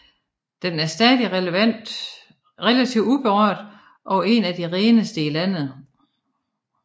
Den er stadig relativt uberørt og en af de reneste i landet